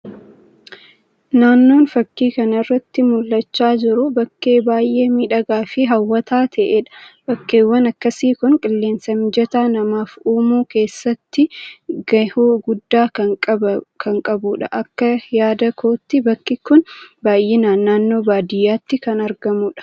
Naannoon fakkii kana irratti mul'achaa jiru, bakkee baayyee miidhagaa fi hawwataa ta'edha. Bakkeewwan akkasii kun qilleensa mijataa namaaf uumuu keessatti gahuu guddaa kan qabudha. Akka yaada kootti bakki kun baayyinaan naannoo baadiyyaatti kan argamudha.